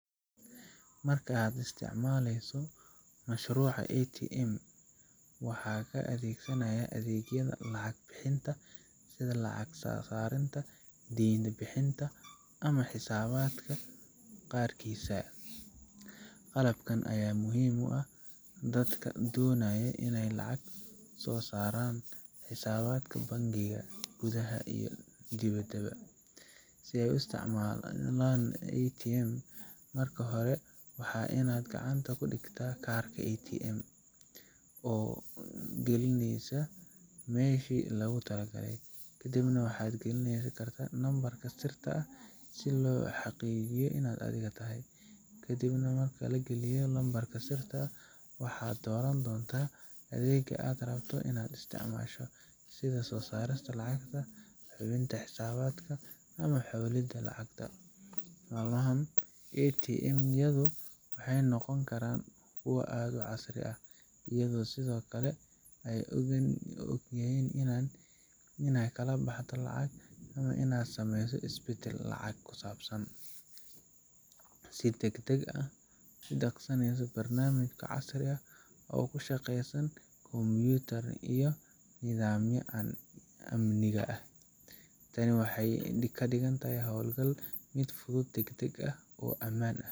Marka aad isticmaleyso mashruuca ATM ,waxaa ka adeegsanaaya adeegyada lacag bixinta, sida lacag soo saarinta, deema bixinta ama xisaabadka qaarkiisa, qalabkan ayaa muhiim u ah dadka doonayo ineey lacag soo saaran, xisaabadka bankiga gudaha iyo dibadaba, si aay u isticmaalan ATM, marka hore waxaa waye inaad gacanta ku digtaa kaarki oo galineysa meeshi loogu tala galay, kadib waxaad galineysa nambarka sirta ah si loo xaqiijiyo inaad adiga tahay, kadib waxaad dooran doonta adeega aad rabto inaad isticmaasho, sida soo saarista lacagta, hubinta xisaabadka iyo xawalida lacagta, malmahan ATM yadu waxeey noqon karaan kuwa aad casri u ah ayago sido kale aay ogyihiin inaad kala baxde lacag ama inaad sameeyse is badal ku saabsan lacag, si dagdag ah udaqsaneyso barnamij casri ah oo ku shaqeysa computer ama nidaamyo amniga ah, tani waxeey kadigan tahay howl gal fudud oo amaan ah.